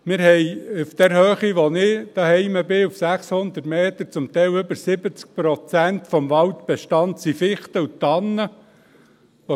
Auf der Höhe, wo ich zu Hause bin, auf 600 Metern, sind zum Teil über 60 Prozent des Waldbestandes Fichten und Tannen.